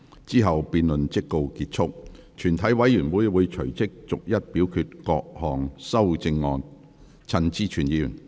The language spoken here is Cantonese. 之後辯論即告結束。全體委員會會隨即逐一表決各項修正案。